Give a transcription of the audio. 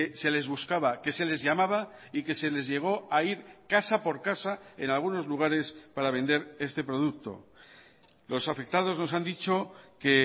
se les buscaba que se les llamaba y que se les llegó a ir casa por casa en algunos lugares para vender este producto los afectados nos han dicho que